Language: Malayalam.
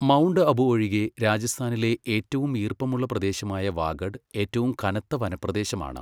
മൗണ്ട് അബു ഒഴികെ, രാജസ്ഥാനിലെ ഏറ്റവും ഈർപ്പമുള്ള പ്രദേശമായ വാഗഡ്, ഏറ്റവും കനത്ത വനപ്രദേശമാണ്.